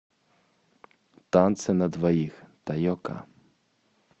танцы на двоих тайока